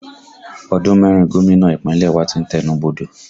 Ọdún mẹ́rin gómìnà Ìpínlẹ̀ wa tí ń tẹnu bodò